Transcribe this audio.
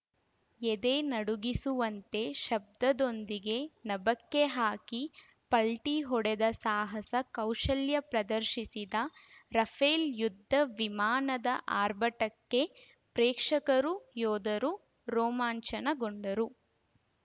ಎದೆ ನಡುಗಿಸುವಂತೆ ಶಬ್ದದೊಂದಿಗೆ ನಭಕ್ಕೆ ಹಾಕಿ ಪಲ್ಟಿಹೊಡೆದು ಸಾಹಸ ಕೌಶಲ್ಯ ಪ್ರದರ್ಶಿಸಿದ ರಫೇಲ್‌ ಯುದ್ಧ ವಿಮಾನದ ಆರ್ಭಟಕ್ಕೆ ಪ್ರೇಕ್ಷಕರು ಯೋಧರು ರೋಮಾಂಚನಗೊಂಡರು